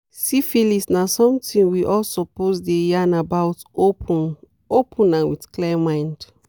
siphilis na something we all suppose dey yarn about open-open and with clear mind